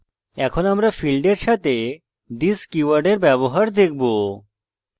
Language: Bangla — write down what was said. এখন আমরা ফীল্ডের সাথে this কীওয়ার্ডের ব্যবহার দেখব